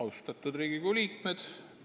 Austatud Riigikogu liikmed!